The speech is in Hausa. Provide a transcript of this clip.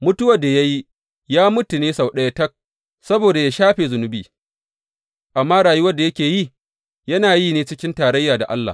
Mutuwar da ya yi, ya mutu ne sau ɗaya tak, saboda yă shafe zunubi, amma rayuwar da yake yi, yana yi ne cikin tarayya da Allah.